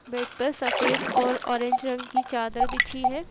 Bed पर सफेद और ऑरेंज रंग की चादर बिछी है।